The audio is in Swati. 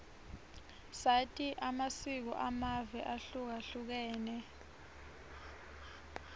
sati amasiko amave ahlukahlukene